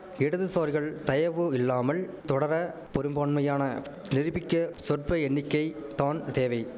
இடதுசாரிகள் தயவு இல்லாமல் தொடர பொரும்பான்மையான நிருபிக்க சொற்ப எண்ணிக்கை தான் தேவை